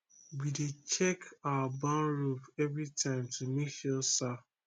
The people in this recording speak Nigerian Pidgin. we dey check our barn roof every time to make sure sa